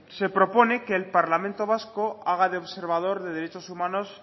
se propone que el parlamento vasco haga de observador de derechos humanos